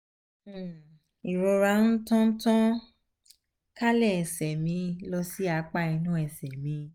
um ìrora ń tàn tàn um kálẹ̀ ẹ̀sẹ̀ mi lọ sí apá inú ẹ̀sẹ̀ mi